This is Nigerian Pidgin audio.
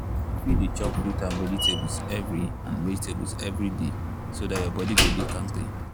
you fit dey chop fruit and vegetables every and vegetables every day so dat your body go dey kampe.